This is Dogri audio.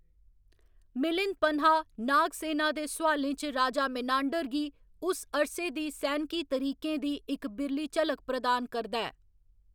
मिलिंद पनहा, नागसेना दे सोआलें च राजा मेनांडर गी उस अरसे दे सैनकी तरीकें दी इक बिरली झलक प्रदान करदा ऐ